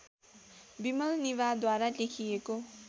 विमल निभाद्वारा लेखिएको